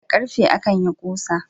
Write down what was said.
Da ƙarfe akan yin ƙusa